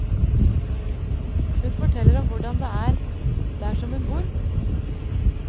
Hun forteller om hvordan det er der som hun bor.